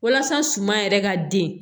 Walasa suman yɛrɛ ka den